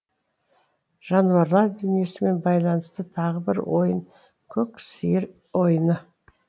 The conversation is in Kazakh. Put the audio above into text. жануарлар дүниесімен байланысты тағы бір ойын көк сиыр ойыны